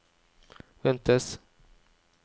ventes